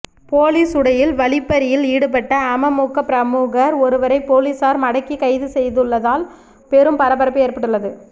police உடையில் வழிப்பறியில் ஈடுபட்ட அமமுக பிரமுகர் ஒருவரை போலீசார் மடக்கி கைது செய்துள்ளதால் பெரும் பரபரப்பு ஏற்பட்டுள்ளது